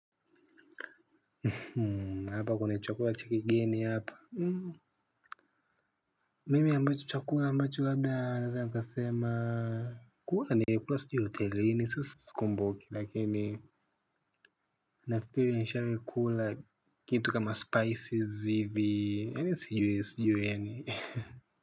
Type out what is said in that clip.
Hmm hapa kuna chakula cha kigeni hapa. Hmm mimi ambacho chakula ambacho labda naweza nikasema. Kula nilikula sijui hotelini sasa. Sikumbuki lakini nafikiri nishawahi kula kitu kama spices hivi yani sijui sijui yani.